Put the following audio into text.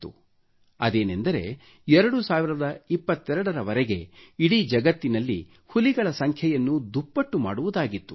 ಆ ಸಂಕಲ್ಪವೇನೆಂದರೆ 2022 ರ ವರೆಗೆ ಇಡಿ ಜಗತ್ತಿನಲ್ಲಿ ಹುಲಿಗಳ ಸಂಖ್ಯೆಯನ್ನು ದುಪ್ಪಟ್ಟು ಮಾಡುವುದಾಗಿತ್ತು